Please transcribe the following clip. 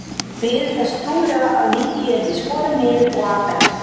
Þær biðu þess trúlega að líkið yrði skorið niður og afhent.